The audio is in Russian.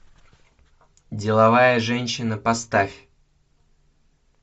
деловая женщина поставь